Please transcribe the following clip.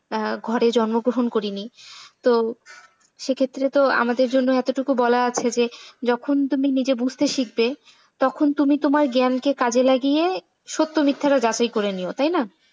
ঘরে জন্ম গ্রহণ করিনি। তো সে ক্ষেত্রে তো আমাদের জন্য এতোটুকু বলা আছে যে যখন তুমি নিজে বুঝতে শিখবে তখন তুমি তোমার জ্ঞানকে কাজে লাগিয়ে সত্য-মিথ্যা টা যাচাই করে নিও তাই না।